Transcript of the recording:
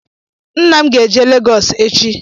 Nna m ga-eje Legọs echi.